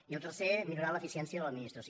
i el tercer millorar l’eficiència de l’administració